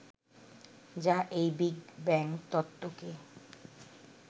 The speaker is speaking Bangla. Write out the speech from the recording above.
যা এই বিগ ব্যাঙ তত্ত্বকে